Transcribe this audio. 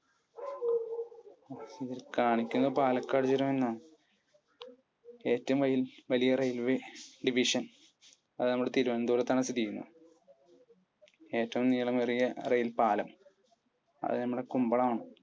കാണിക്കുന്നത് പാലക്കാട് ചുരമെന്നാ. ഏറ്റവും വലിയ railway division? അത് നമ്മുടെ തിരുവനന്തപുരത്താണ് സ്ഥിതി ചെയ്യുന്നത്. ഏറ്റവും നീളമേറിയ rail പാലം? അത് നമ്മുടെ കുമ്പളം ആണ്.